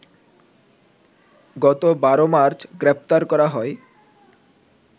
গত ১২মার্চ গ্রেপ্তার করা হয়